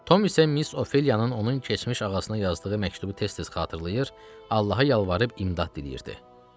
Tom isə Miss Ofeliyanın onun keçmiş ağasına yazdığı məktubu tez-tez xatırlayır, Allaha yalvarıb imdad diləyirdi.